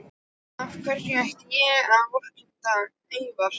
Af hverju ætti ég að vorkenna Evra?